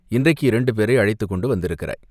இன்றைக்கு இரண்டு பேரை அழைத்துக்கொண்டு வந்திருக்கிறாய்.